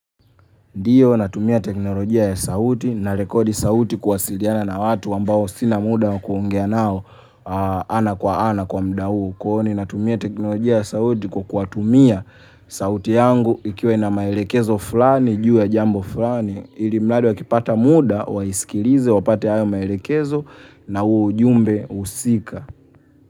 Ndiyo natumia teknolojia ya sauti na rekodi sauti kuwasiliana na watu ambao sina muda wa kuongea nao ana kwa ana kwa muda huu. Kuhoni natumia teknolojia ya sauti kwa kuwatumia sauti yangu ikiwa ina maelekezo fulani juu ya jambo fulani. Ilimradhi wakipata muda waisikilize wapate hayo maelekezo na huo ujumbe husika.